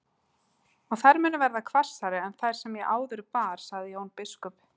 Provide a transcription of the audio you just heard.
Og þær munu verða hvassari en þær sem ég áður bar, sagði Jón biskup.